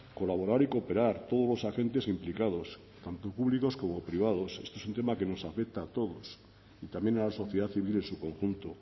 colaborar y cooperar todos los agentes implicados tanto públicos como privados este un tema que nos afecta a todos y también a la sociedad civil en su conjunto